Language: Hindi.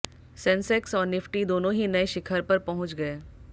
सेंसेक्स और निफ्टी दोनों ही नए शिखर पर पहुंच गए